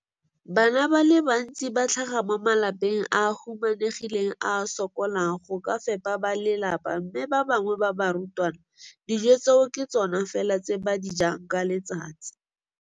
Bana ba le bantsi ba tlhaga mo malapeng a a humanegileng a a sokolang go ka fepa ba lelapa mme ba bangwe ba barutwana, dijo tseo ke tsona fela tse ba di jang ka letsatsi.